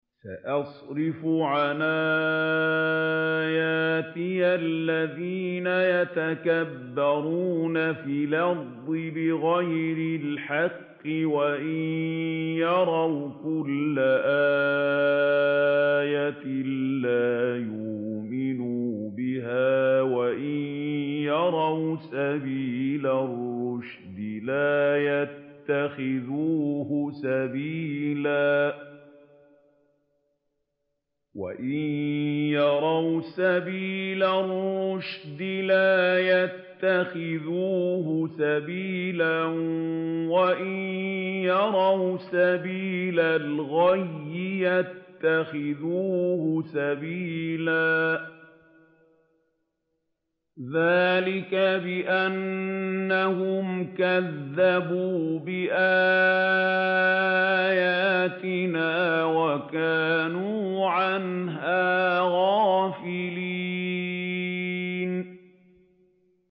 سَأَصْرِفُ عَنْ آيَاتِيَ الَّذِينَ يَتَكَبَّرُونَ فِي الْأَرْضِ بِغَيْرِ الْحَقِّ وَإِن يَرَوْا كُلَّ آيَةٍ لَّا يُؤْمِنُوا بِهَا وَإِن يَرَوْا سَبِيلَ الرُّشْدِ لَا يَتَّخِذُوهُ سَبِيلًا وَإِن يَرَوْا سَبِيلَ الْغَيِّ يَتَّخِذُوهُ سَبِيلًا ۚ ذَٰلِكَ بِأَنَّهُمْ كَذَّبُوا بِآيَاتِنَا وَكَانُوا عَنْهَا غَافِلِينَ